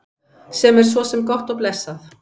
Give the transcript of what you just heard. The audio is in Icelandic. Sem er svo sem gott og blessað.